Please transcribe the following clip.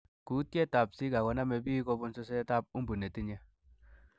Kutietab Zika konome biik kobunn susetab umbu netinye.